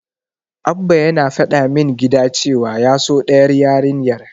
Abba yana faɗa min gida cewa ya so ɗayar yarinyar.